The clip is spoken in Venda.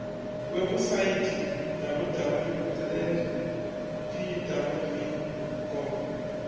webusaithi www land pwv gov